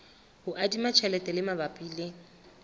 ho adima tjhelete mabapi le